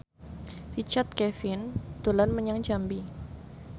Richard Kevin dolan menyang Jambi